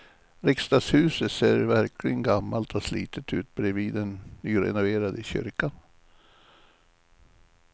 Riksdagshuset ser verkligen gammalt och slitet ut bredvid den nyrenoverade kyrkan.